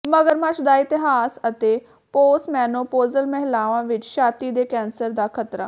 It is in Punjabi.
ਮਗਰਮੱਛ ਦਾ ਇਤਿਹਾਸ ਅਤੇ ਪੋਸਮੇਨੋਪੌਜ਼ਲ ਮਹਿਲਾਵਾਂ ਵਿੱਚ ਛਾਤੀ ਦੇ ਕੈਂਸਰ ਦਾ ਖਤਰਾ